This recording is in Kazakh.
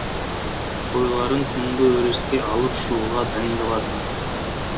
қойларын түнгі өріске алып шығуға дайындалатын